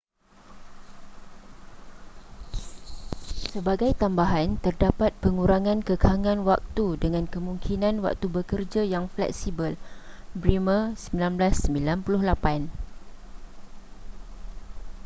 sebagai tambahan terdapat pengurangan kekangan waktu dengan kemungkinan waktu bekerja yang fleksibel. bremer 1998